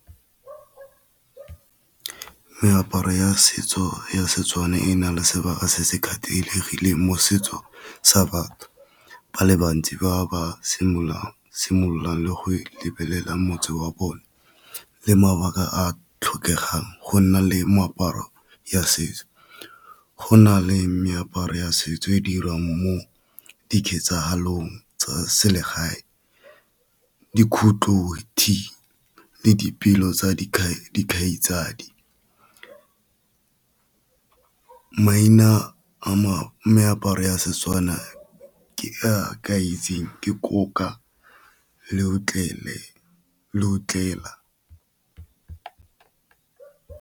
Meaparo ya setso ya Setswana e na le sebaka se se kgethegile mo setso sa batho ba le bantsi ba ba simololang le go lebelela motse wa bone, le mabaka a tlhokegang go nna le meaparo ya setso. Go na le meaparo ya setso e dirwang mo di ketsangholong tsa selegae. le dipelo tsa dikhai dikgaitsadi, maina a meaparo ya Setswana ke itseng ke .